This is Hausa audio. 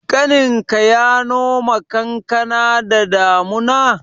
Ƙaninka ya noma kankana da damuna?